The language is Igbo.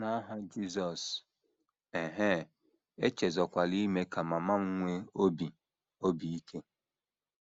N’aha Jizọs... ehee, echezọkwala ime ka mama m nwee obi obi ike.